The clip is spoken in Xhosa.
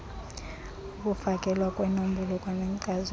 ukufakelwa kweenombolo kwanenkcazelo